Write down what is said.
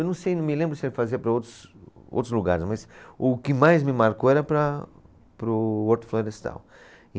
Eu não sei, não me lembro se ele fazia para outros, outros lugares, mas o que mais me marcou era para, para o Horto Florestal.